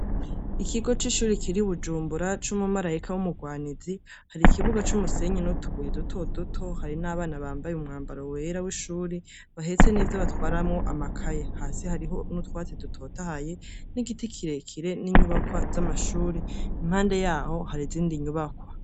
Ikigo cishure kiri i Bujumbura cumumarayika wumurwanizi hari ikibuga cumusenyi nutubuye duto duti hari n'abana bambaye umwambaro wera wishure bahetse nivyo batwaramwo amakaye, hasi hariho n'utwatsi dutotahaye n'igiti kirekire ninyubakwa zamashure impande yaho harizindi nyubakwa.